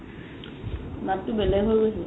মাতটো বেলেগ হৈ গৈছে